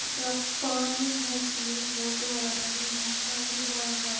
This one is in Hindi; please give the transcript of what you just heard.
यहां पानी है इसमें बहुत बड़ा नदी है पानी बह रहा है।